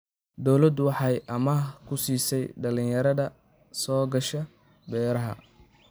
Dawladdu waxay amaah ku siisaa dhalinyarada soo gasha beeraha.